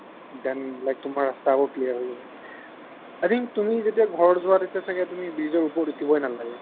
then like তোমাৰ ৰাস্তাও clear হৈ যাব i think তুমি যেতিয়া ঘৰ যোৱা তেতিয়া ছাগে তুমি bridge ৰ ওপৰত উঠিবয়ে নালাগে